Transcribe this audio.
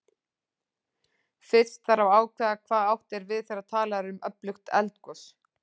Fyrst þarf að ákveða hvað átt er við þegar talað er um öflugt eldgos.